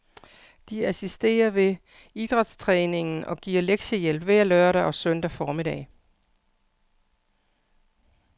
De assisterer ved idrætstræningen og giver lektiehjælp hver lørdag og søndag formiddag.